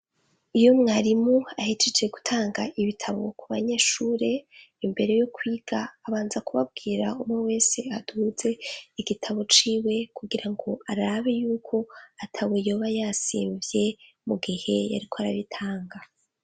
Iyo mwarimu ahijije gutanga ibitabo ku banyeshure imbere yo kwiga abanza kubabwira umwe wese aduze igitabo ciwe kugira ngo arabi yuko ata we yoba yasimvye mu gihe yariko arabitanga.